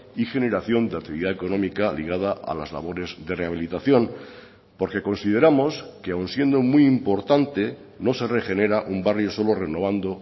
y generación de actividad económica ligada a las labores de rehabilitación porque consideramos que aun siendo muy importante no se regenera un barrio solo renovando